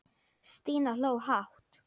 Stína hló hátt.